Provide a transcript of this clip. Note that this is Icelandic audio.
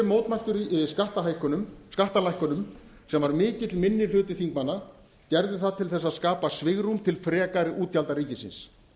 mótmæltu skattalækkunum sem var mikill minni hluti þingmanna gerði það til að skapa svigrúm til frekari útgjalda ríkisins